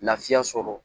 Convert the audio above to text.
Lafiya sɔrɔ